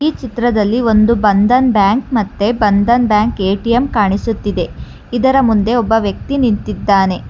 ಈ ಚಿತ್ರದಲ್ಲಿ ಒಂದು ಬಂಧನ್ ಬ್ಯಾಂಕ್ ಮತ್ತೆ ಬಂಧನ್ ಬ್ಯಾಂಕ್ ಎ_ಟಿ_ಎಂ ಕಾಣಿಸುತ್ತಿದೆ ಇದರ ಮುಂದೆ ಒಬ್ಬ ವ್ಯಕ್ತಿ ನಿಂತಿದ್ದಾನೆ.